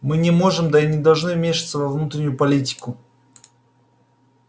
мы не можем да и не должны вмешиваться во внутреннюю политику